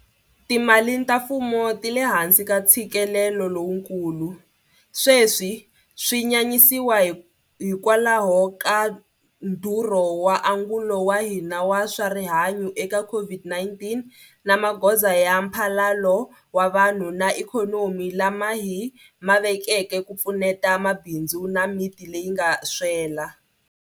Timali ta mfumo ti le hansi ka ntshikelelo lowukulu, sweswi swi nyanyisiwa hikwalaho ka ndhurho wa angulo wa hina wa swa rihanyu eka COVID-19 na magoza ya mphalalo wa vanhu na ikhonomi lama hi ma vekeke ku pfuneta mabindzu na miti leyi nga swela.